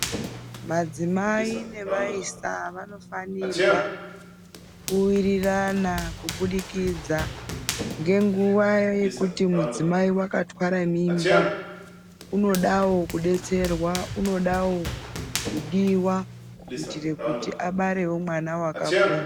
Madzimai nevaisa vanofanirwa kuwirirana kubudikidza ngenguwa yekuti mudzimai wakatwara mimba, unodawo kudiwa kuitira kuti abarewo mwana wakapona.